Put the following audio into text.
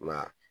I m'a ye